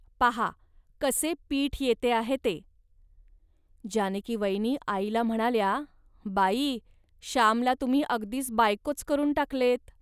पाहा, कसे पीठ येत आहे, ते. जानकीवयनी आईला म्हणाल्या, बाई, "श्यामला तुम्ही अगदी बायकोच करून टाकलेत